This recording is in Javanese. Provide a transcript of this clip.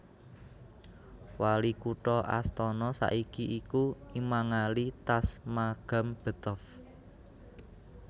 Wali kutha Astana saiki iku Imangali Tasmagambetov